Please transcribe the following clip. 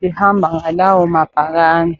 behamba ngalawo mabhakani.